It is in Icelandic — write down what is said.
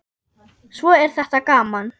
Svo er þetta gaman.